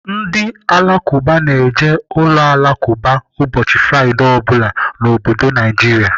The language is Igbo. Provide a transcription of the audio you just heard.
Ndị Alakụba na-eje uloalakụba ụbọchị Fraịdee ọ bụla n'obodo Naijiria.